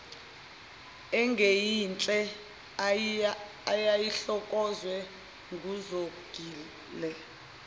engeyinhle eyayihlokozwe nguzongile